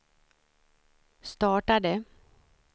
startade